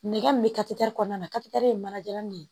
Nɛgɛ min bɛ kɔnɔna na ye manajalan de ye